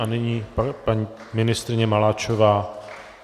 A nyní paní ministryně Maláčová.